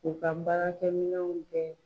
U ka baarakɛmɛnw bɛɛ